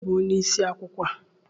Onye bụ onye isi akwụkwọ a?